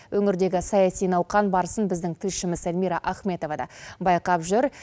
өңірдегі саяси науқан барысын біздің тілшіміз эльмира ахметова да байқап жүр